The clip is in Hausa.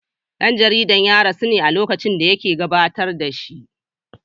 Dan jaridar ya rasu ne a lokacin da yake gabatar da shi.